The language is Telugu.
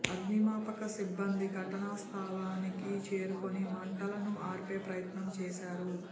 అగ్నిమాపకసిబ్బంది ఘటనా స్థలానికి చేరుకొని మంటలను ఆర్పే ప్రయత్నం చేశారు